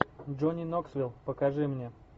джонни ноксвил покажи мне